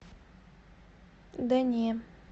да не